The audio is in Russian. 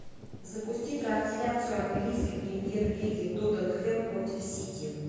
запусти трансляцию английской премьер лиги тоттенхэм против сити